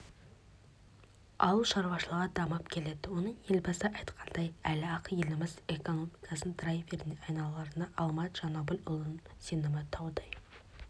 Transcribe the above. ауыл шаруашылығы дамып келеді оның елбасы айтқандай әлі-ақ еліміз экономикасының драйверіне айналарына алмат жанәбілұлының сенімі таудай